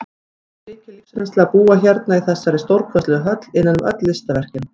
Það er mikil lífsreynsla að búa hérna í þessari stórkostlegu höll, innan um öll listaverkin.